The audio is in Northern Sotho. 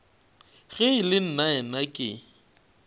ge e le nnaena ke